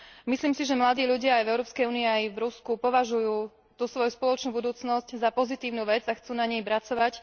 Myslím si, že mladí ľudia aj v Európskej únii, aj v Rusku považujú svoju spoločnú budúcnosť za pozitívnu vec a chcú na nej pracovať.